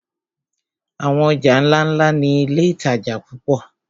Àwọn ọjà ńláńlá ni iléìtajà púpọ̀.